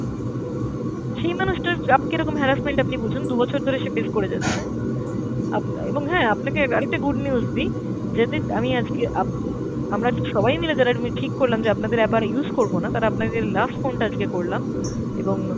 সেই মানুষটার কীরকম horsemint আপনি বুঝুন, দু'বছর ধরে সে face করে যাচ্ছে। আপনা~ এবং হ্যাঁ আপনাকে আরেকটা good news দি আমি আজকে আপ~ আমরা আজ সবাই মিলে যারা ঠিক করলাম যে আপনাদের app আর use করবো না তারা আপনাদের last phone টা আজকে করলাম, এবং